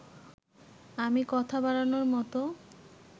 আমি কথা বাড়ানোর মতো